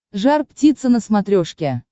жар птица на смотрешке